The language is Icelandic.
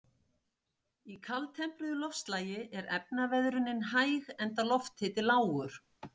Í kaldtempruðu loftslagi er efnaveðrunin hæg enda lofthiti lágur.